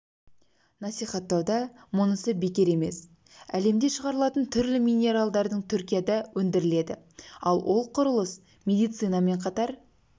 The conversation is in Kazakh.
насихаттауда мұнысы бекер емес әлемде шығарылатын түрлі минералдың түркияда өндіріледі ал ол құрылыс медицинамен қатар